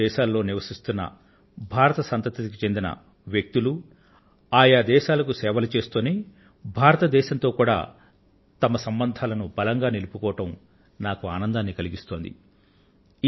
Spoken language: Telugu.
వివిధ దేశాలలో నివసిస్తున్న భారత సంతతికి చెందిన వ్యక్తులు ఆయా దేశాల సేవలు చేస్తూనే భారతదేశంతో కూడా తమ సంబంధాలను బలంగా నిలుపుకోవడం నాకు ఆనందాన్ని కలిగిస్తోంది